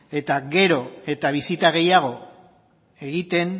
eta gero eta bisita gehiago egiten